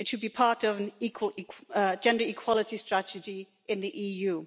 It should be part of a gender equality strategy in the EU.